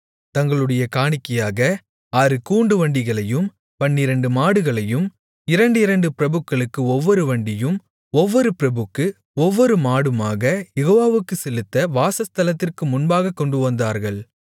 தங்களுடைய காணிக்கையாக ஆறு கூண்டுவண்டிகளையும் பன்னிரண்டு மாடுகளையும் இரண்டிரண்டு பிரபுக்களுக்கு ஒவ்வொரு வண்டியும் ஒவ்வொரு பிரபுக்கு ஒவ்வொரு மாடுமாக யெகோவாவுக்குச் செலுத்த வாசஸ்தலத்திற்கு முன்பாகக் கொண்டுவந்தார்கள்